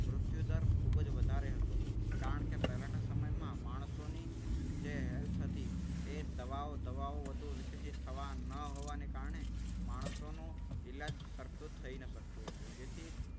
મૃત્યુદર ખૂબ જ વધારે હતો. કારણ કે પહેલાના સમયમાં માણસોની જે health હતી. એ દવાઓ દવાઓ વધુ વિકસિત થવા ન હોવાને કારણે માણસોનું ઈલાજ સરખું થાય ન શકતું હતું. જેથી